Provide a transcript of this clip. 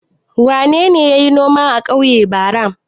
Wane ne ya yi noma a ƙauye bara?